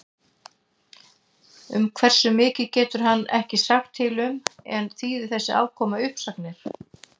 Um hversu mikið getur hann ekki sagt til um en þýðir þessi afkoma uppsagnir?